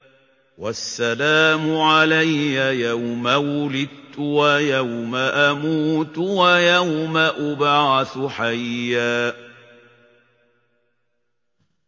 وَالسَّلَامُ عَلَيَّ يَوْمَ وُلِدتُّ وَيَوْمَ أَمُوتُ وَيَوْمَ أُبْعَثُ حَيًّا